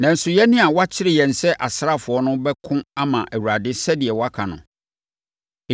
Nanso, yɛn a wɔakyere yɛn sɛ asraafoɔ no bɛko ama Awurade sɛdeɛ woaka no.”